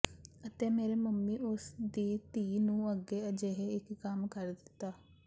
ਅਤੇ ਮੇਰੇ ਮੰਮੀ ਉਸ ਦੀ ਧੀ ਨੂੰ ਅੱਗੇ ਅਜਿਹੇ ਇੱਕ ਕੰਮ ਕਰ ਦਿੱਤਾ